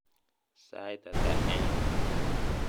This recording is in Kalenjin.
sait at en